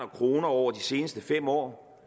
kroner over de seneste fem år